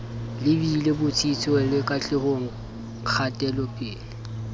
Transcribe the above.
lebile botsitsong le katlehong kgatelopele